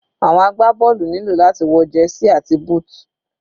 Àwọn agbá bọ́ọ̀lù nílò láti wọ jersey àti booth.